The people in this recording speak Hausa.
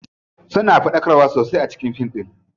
Suna faɗakarwa sosai a cikin fin ɗin.